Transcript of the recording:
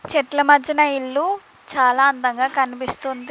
చెట్ల మధ్యన ఇల్లు చాలా అందంగా కనిపిస్తుంది.